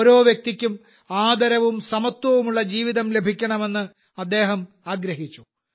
ഓരോ വ്യക്തിക്കും ആദരവും സമത്വവുമുള്ള ജീവിതം ലഭിക്കണമെന്ന് അദ്ദേഹം ആഗ്രഹിച്ചു